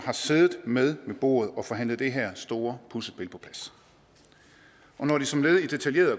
har siddet med ved bordet og forhandlet det her store puslespil på plads og når de som led i detaljerede